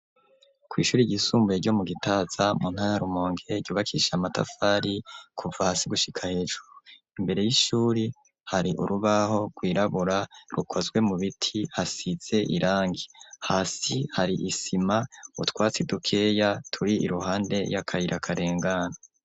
Kw'ishuri rgisumbuye ryo mu gitaza mu ntaya rumonke yubakisha amatafari kuva hasi gushika hejuru imbere y'ishuri hari urubaho rwirabura rukozwe mu biti hasize irangi hasi hari isima utwatse i dukeya turi i ruhande y'akayirakarengana.